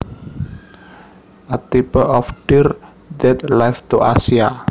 A type of deer that lives to Asia